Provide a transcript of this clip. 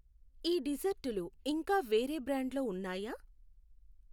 ఈ డిజర్టులు ఇంకా వేరే బ్రాండ్లో ఉన్నాయా?